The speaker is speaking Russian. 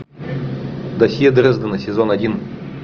досье дрездена сезон один